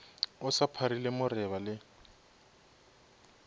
o sa pharile moreba le